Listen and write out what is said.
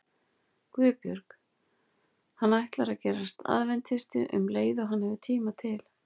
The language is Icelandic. GUÐBJÖRG: Hann ætlar að gerast aðventisti um leið og hann hefur tíma til.